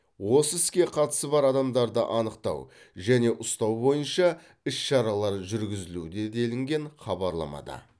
осы іске қатысы бар адамдарды анықтау және ұстау бойынша іс шаралар жүргізілуде делінген хабарламада